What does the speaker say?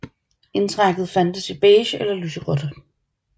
Indtrækket fandtes i beige eller lyseblåt